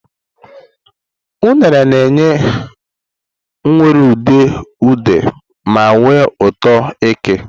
Unere na-enye nwere udidi ude ma nwee ụtọ ụtọ eke.